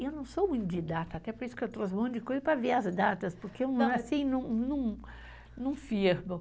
Eu não sou muito didata, até por isso que eu trouxe um monte de coisa para ver as datas, porque não, não, não firmo.